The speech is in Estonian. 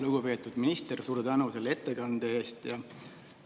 Lugupeetud minister, suur tänu selle ettekande eest!